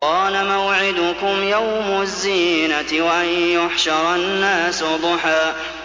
قَالَ مَوْعِدُكُمْ يَوْمُ الزِّينَةِ وَأَن يُحْشَرَ النَّاسُ ضُحًى